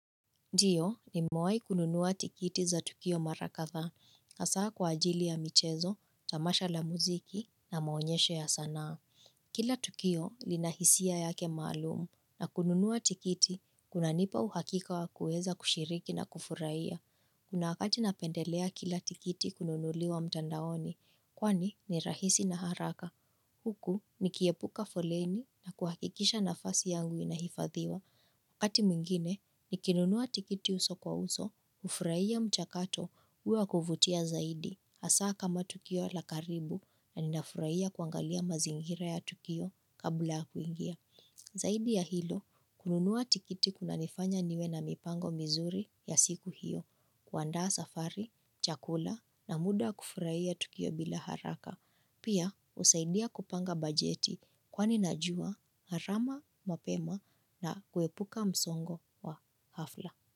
Ndiyo nimewai kununua tikiti za Tukio mara kadhaa, hasaa kwa ajili ya michezo, tamasha la muziki na maonyesho ya sanaa. Kila Tukio lina hisia yake maalum na kununua tikiti, kunanipa uhakika wa kueza kushiriki na kufurahia. Kuna wakati napendelea kila tikiti kununuliwa mtandaoni, kwani ni rahisi na haraka. Huku nikiepuka foleni kuhakikisha nafasi yangu inahifadhiwa. Wakati mwingine, nikinunuwa tikiti uso kwa uso, ufurahia mchakato uwa ya kuvutia zaidi, hasa kama Tukio la karibu na ninafurahia kuangalia mazingira ya Tukio kabla kuingia. Zaidi ya hilo, kununuwa tikiti kunanifanya niwe na mipango mizuri ya siku hiyo, kuandaa safari, chakula na muda wa kufurahia Tukio bila haraka. Pia usaidia kupanga bajeti kwani najua, gharama, mapema na kuepuka msongo wa hafla.